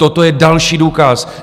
Toto je další důkaz.